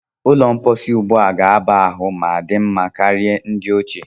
Ụlọ mposi ugbua ga-aba ahụ ma dị mma karịa ndi ochie.